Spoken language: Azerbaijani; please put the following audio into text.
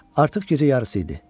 Artıq gecə yarısı idi.